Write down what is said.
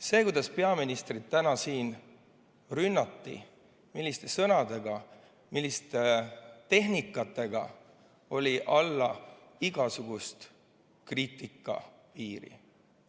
See, kuidas peaministrit täna siin rünnati, milliste sõnadega, milliste tehnikatega, oli alla igasuguse kriitika piiri.